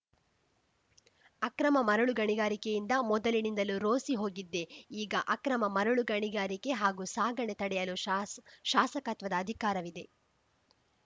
ಅಕ್ರಮ ಮರಳು ಗಣಿಗಾರಿಕೆಯಿಂದ ಮೊದಲಿನಿಂದಲೂ ರೋಸಿ ಹೋಗಿದ್ದೆ ಈಗ ಅಕ್ರಮ ಮರಳು ಗಣಿಗಾರಿಕೆ ಹಾಗೂ ಸಾಗಣೆ ತಡೆಯಲು ಶಾಸ ಶಾಸಕತ್ವದ ಅಧಿಕಾರವಿದೆ